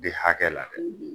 De hakɛ la dɛ